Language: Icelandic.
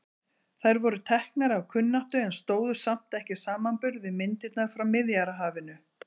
Þær voru teknar af kunnáttu en stóðust samt ekki samanburð við myndirnar frá Miðjarðarhafinu.